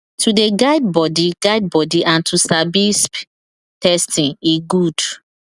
to they guide body guide body and to sabi sbi testing e good